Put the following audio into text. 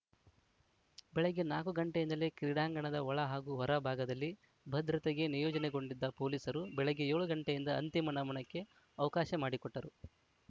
ಬೆಳಗ್ಗೆ ನಾಕು ಗಂಟೆಯಿಂದಲೇ ಕ್ರೀಡಾಂಗಣದ ಒಳ ಹಾಗೂ ಹೊರ ಭಾಗದಲ್ಲಿ ಭದ್ರತೆಗೆ ನಿಯೋಜನೆಗೊಂಡಿದ್ದ ಪೊಲೀಸರು ಬೆಳಗ್ಗೆ ಏಳು ಗಂಟೆಯಿಂದ ಅಂತಿಮ ನಮನಕ್ಕೆ ಅವಕಾಶ ಮಾಡಿಕೊಟ್ಟರು